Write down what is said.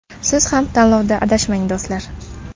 Siz ham tanlovda adashmang do‘stlar!